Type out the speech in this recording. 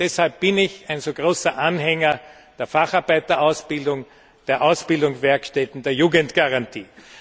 Deshalb bin ich ein so großer Anhänger der Facharbeiterausbildung, der Ausbildungswerkstätten, der Jugendgarantie.